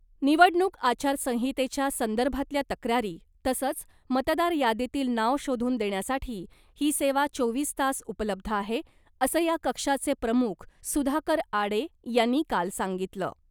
निवडणूक आचारसंहितेच्या संदर्भातल्या तक्रारी तसंच मतदार यादीतील नाव शोधून देण्यासाठी ही सेवा चोवीस तास उपलब्ध आहे , असं या कक्षाचे प्रमुख सुधाकर आडे यांनी काल सांगितलं .